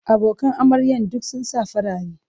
Abokan amaryan duk sun sa farare.